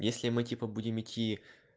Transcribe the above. если мы типа будем идти